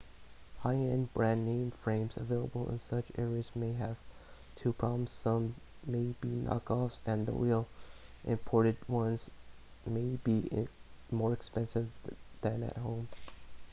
high-end brand-name frames available in such areas may have two problems some may be knock-offs and the real imported ones may be more expensive than at home